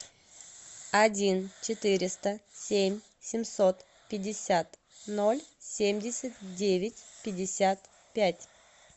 один четыреста семь семьсот пятьдесят ноль семьдесят девять пятьдесят пять